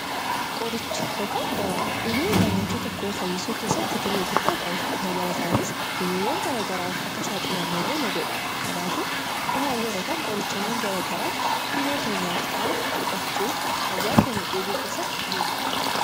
Qorichi yookiin dawaan dhibee namaa fayyisuu keessatti gahee guddaa qabu. Dabalataanis dhibeewwan garagaraaf akka nuti hin saaxilamne nu godhu. Kanaafuu qoricha dhibee keenyaaf ta'u fudhachuun fayyaa keenya eeggachuu keessatti gahee guddaa qaba.